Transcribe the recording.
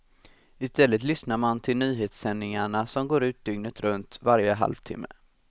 I stället lyssnar man till nyhetssändningarna som går ut dygnet runt varje halv timme.